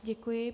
Děkuji.